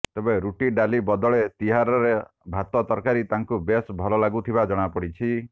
ତେବେ ରୁଟି ଡାଲି ବଦଳେ ତିହାରର ଭାତ ତରକାରୀ ତାଙ୍କୁ ବେଶ୍ ଭଲ ଲାଗୁଥିବା ଜଣାପଡିଛି